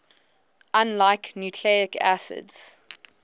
unlike nucleic acids